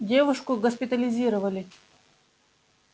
девушку госпитализировали